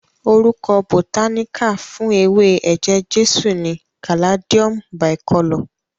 Orúkọ bòtáníkà fún ewé eje-jesu ni Caladium Bicolor.